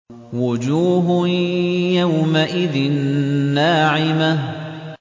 وُجُوهٌ يَوْمَئِذٍ نَّاعِمَةٌ